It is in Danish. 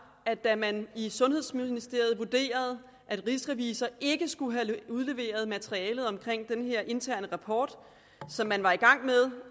at da man i sundhedsministeriet vurderede at rigsrevisor ikke skulle have udleveret materialet omkring den her interne rapport som man var i gang med